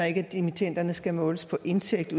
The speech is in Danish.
ikke at dimittenderne skal måles på indtægt